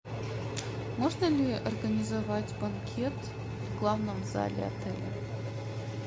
можно ли организовать банкет в главном зале отеля